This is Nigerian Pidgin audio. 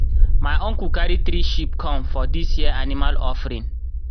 myuncle carry three sheep come for dis year animal offering.